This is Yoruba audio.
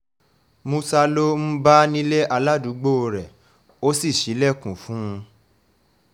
múṣà ló um bá nílé aládùúgbò rẹ̀ ó sì ṣílẹ̀kùn um fún un